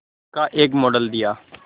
का एक मॉडल दिया